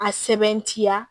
A sɛbɛntiya